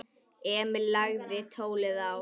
Emil lagði tólið á.